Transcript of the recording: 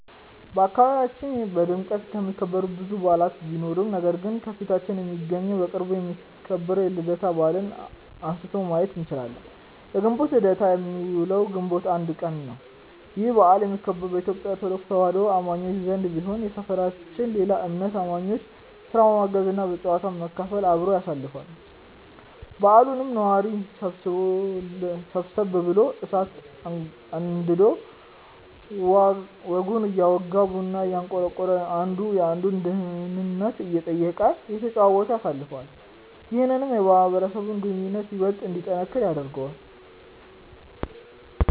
በአካባቢያችን በድምቀት የሚከበሩ ብዙ በዓላት ቢኖሩም ነገር ግን ከፊታችን የሚገኘው በቅርቡ የሚከበረው የልደታ በዓልን አንስተን ማየት እንችላለን። የግንቦት ልደታ የሚውለው ግንቦት 1 ቀን ነው። ይህ በዓል የሚከበረው በኢትዮጲያ ኦርቶዶክስ ተዋህዶ አማኞች ዘንድ ቢሆንም የሰፈራችን ሌላ እምነት አማኞችም ስራ በማገዝ እና ከጨዋታው በመካፈል አብረው ያሳልፋሉ። በዓሉንም ነዋሪው ሰብሰብ ብሎ እሳት አንድዶ ወጉን እያወጋ፤ ቡናውን እያንቆረቆረ፤ አንዱ የአንዱን ደህንነት እየጠየቀ፤ እየተጨዋወተ ያሳልፋል። ይህም የማህበረሰቡን ግንኙነት ይበልጥ እንዲጠነክር ያደርገዋል።